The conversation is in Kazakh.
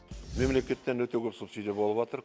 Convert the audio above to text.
мемлекеттен өте көп субсидия болып жатыр